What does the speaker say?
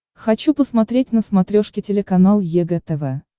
хочу посмотреть на смотрешке телеканал егэ тв